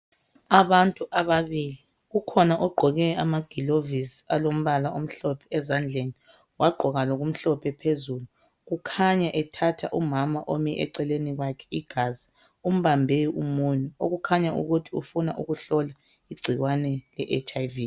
Abantu ababili ukhona ogqoke amagilovisi alombala omhlophe ezandleni .Wagqoka lokumhlophe phezulu Kukhanya ethatha umama omi eceleni kwakhe igazi .Umbambe umunwe .okukhanya ukuthi ufuna ukuhlola igcikwane le HIV.